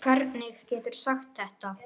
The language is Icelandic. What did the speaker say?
Hvernig geturðu sagt þetta?